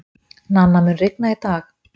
Nanna, mun rigna í dag?